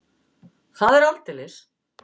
Það er aldeilis!